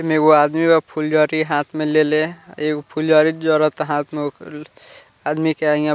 ऐमे एगो आदमी बा फूलझरी हाँथ में लेले एगो फूलझरी जोरोता हाथ में ओक आदमी के हिंया --